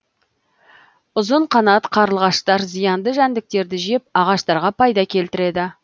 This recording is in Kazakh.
ұзынқанат қарлығаштар зиянды жәндіктерді жеп ағаштарға пайда келтіреді